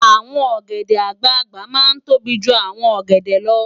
Awòn ògèdè àgbágbá má n tóbí jú áwòn ògèdè lò